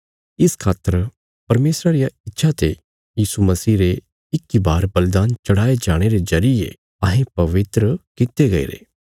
इस खातर परमेशरा रिया इच्छा ते यीशु मसीह रे इक इ बार बलिदान चढ़ाये जाणे रे जरिये अहें पवित्र कित्ते गईरे